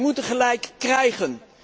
Wij moeten gelijk krijgen.